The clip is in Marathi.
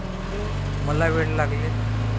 मला वेड लागले.